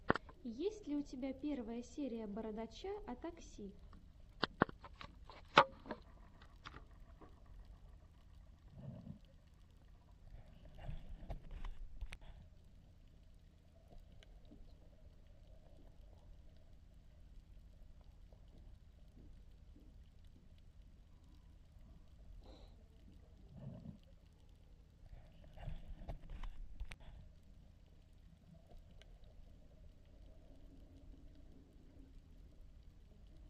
есть ли у тебя первая серия бородача о такси